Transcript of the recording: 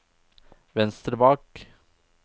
venstre bak